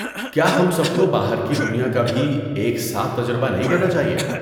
کیا ہم سب کو باہر کی دنیا کا بھی ایک ساتھ تجربہ نہیں کرنا چاہیے؟